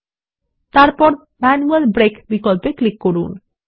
এবং তারপর manual break বিকল্পে ক্লিক করুন